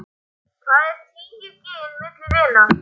Hvað eru tíu gin milli vina.